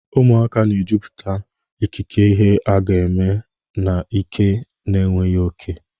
Ụmụaka na-ejupụta ikike ihe aga eme na ike na enweghị oke.